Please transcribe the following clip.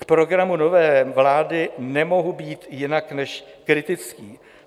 K programu nové vlády nemohu být jinak než kritický.